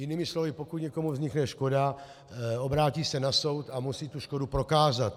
Jinými slovy, pokud někomu vznikne škoda, obrátí se na soud a musí tu škodu prokázat.